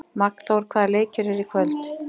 Magnþór, hvaða leikir eru í kvöld?